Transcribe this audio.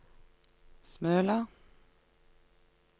Smøla